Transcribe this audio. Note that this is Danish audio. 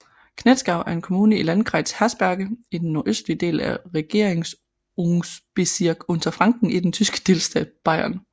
Knetzgau er en kommune i Landkreis Haßberge i den nordøstlige del af Regierungsbezirk Unterfranken i den tyske delstat Bayern